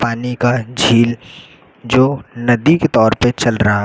पानी का झील जो नदी के तौर पे चल रहा--